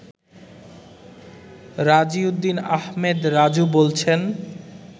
রাজিউদ্দিন আহমেদ রাজু বলছেন